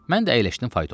Mən də əyləşdim faytona.